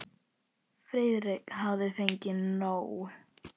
Friðrik hafði fengið nóg.